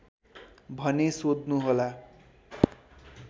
भने सोध्नुहोला